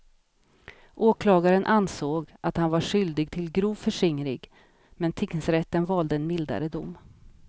Åklagaren ansåg att han var skyldig till grov förskingring men tingsrätten valde en mildare dom.